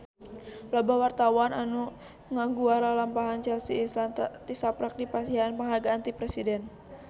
Loba wartawan anu ngaguar lalampahan Chelsea Islan tisaprak dipasihan panghargaan ti Presiden